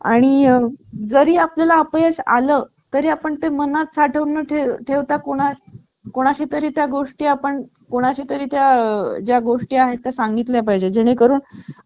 आणि जरी आपल्या ला अपयश आलं तरी आपण ते मनात साढवणं ते ठेवता कोणाची कोणाशी तरी त्या गोष्टी आपण कोणा चे तरी त्या ज्या गोष्टी आहेत त्या सांगितल्या पाहिजे जेणेकरून